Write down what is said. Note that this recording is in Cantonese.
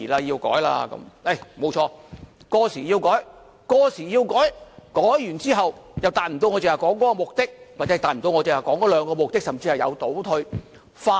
沒有錯，過時是要修改，改完之後卻達不到我剛才說的目的，或是達不到我剛才說的兩個目的，甚至有所倒退。